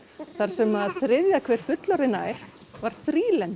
þar sem þriðja hver fullorðin ær var